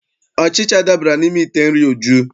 Ọchịcha dabara n'ime ite nri Uju.